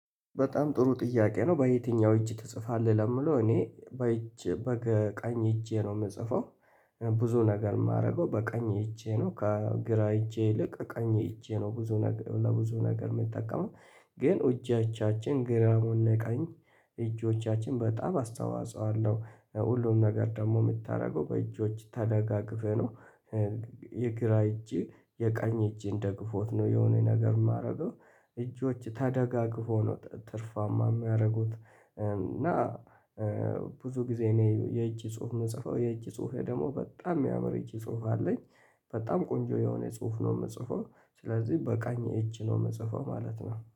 በጣም ጥሩ ጥያቄ ነው በየትኛው እጅ ትጽፋለህ ለሚለው እኔ በቀኝ እጄ ነው የምጽፈው። ብዙ ነገር የማደርገው በቀኝ እጄ ነው ከግራ እጄ ይልቅ ቀኝ እጄ ነው ብዙ ነገር ለብዙ ነገር የሚጠቀመው። ግን እጆቻችን ግራም ሆነ ቀኝ እጆቻችን በጣም አስተዋፆ አለው ሁሉም ነገር ደግሞ የምታደርገው በእጆች ተደጋግፈህ ነው። የግራ እጅ የቀኝ እጅን ደግፎት ነው የሆነ ነገር ሚያደርገው። እጆች ተደጋግፈው ነው ትርፋማ ሚያደርጉት። እና ብዙ ጊዜ እኔ የእጅ ጽሁፍ የምጽፈው የእጅ ጽሁፌ ደግሞ በጣም የሚያምር የእጅ ጽሁፍ አለኝ። በጣም ቆንጆ የሆነ ጽሁፍ ነው የምጽፈው ስለዚህ በቀኝ እጅ ነው የምጽፈው ማለት ነው